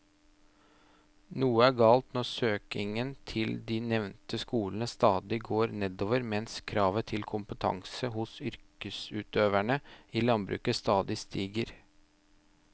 Noe er galt når søkningen til de nevnte skolene stadig går nedover mens kravet til kompetanse hos yrkesutøverne i landbruket stadig stiger.